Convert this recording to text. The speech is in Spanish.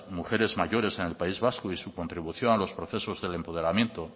mujeres mayores en el país vasco y su contribución a los procesos del empoderamiento